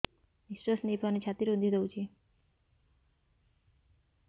ନିଶ୍ୱାସ ନେଇପାରୁନି ଛାତି ରୁନ୍ଧି ଦଉଛି